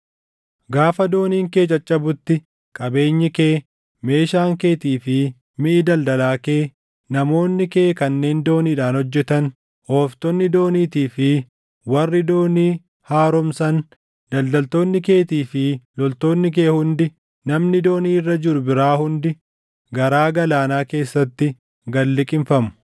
Gaafa dooniin kee caccabutti qabeenyi kee, meeshaan keetii fi miʼi daldalaa kee, namoonni kee kanneen dooniidhaan hojjetan, ooftonni dooniitii fi warri doonii haaromsan, daldaltoonni keetii fi loltoonni kee hundi namni doonii irra jiru biraa hundi garaa galaanaa keessatti gad liqimfamu.